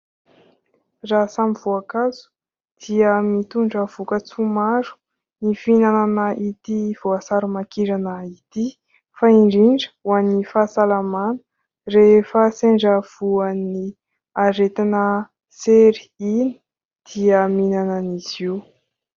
Raha samy voankazo dia mitondra voka-tsoa maro ny fihinanana ity voasarimakirana ity fa indrindra ho an'ny fahasalamana rehefa sendra voan'ny aretina sery iny dia mihinana an'izy io.